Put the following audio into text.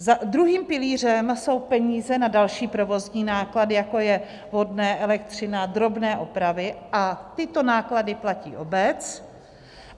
Druhým pilířem jsou peníze na další provozní náklady, jako je vodné, elektřina, drobné opravy, a tyto náklady platí obec.